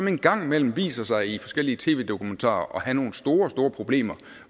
en gang imellem har vist sig i forskellige tv dokumentarer har nogle store store problemer